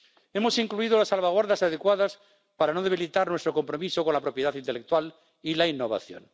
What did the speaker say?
Hemos incluido las salvaguardas adecuadas para no debilitar nuestro compromiso con la propiedad intelectual y la innovación.